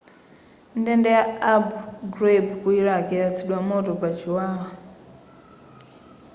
ndende ya abu ghraib ku iraq yayatsidwa moto pa chiwawa